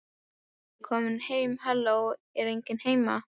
Ég er komin heim halló, er enginn heima?